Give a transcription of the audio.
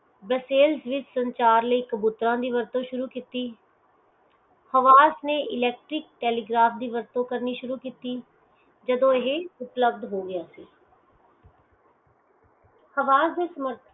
ਬਸੇਲ ਵਿਚ ਸੰਚਾਰਲੀਕ ਦੀ ਵਰਤੋਂ ਸ਼ੁਰੂ ਕਿੱਤੀ hvas ਨੇ electric telegraph ਦੀ ਵਰਤੋਂ ਕਰਨੀ ਸ਼ੁਰੂ ਕਿੱਤੀ ਜਦੋਂ ਇਹ ਉਪਲਬਦ ਹੋ ਗਿਆ ਸੀ havas ਦੇ ਸ਼ਮਰਥਕ